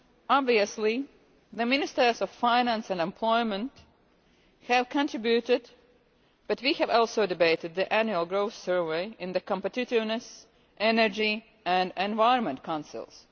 Obviously, the ministers of finance and employment have contributed but we have also debated the Annual Growth Survey in the Competitiveness, Energy and Environment Councils.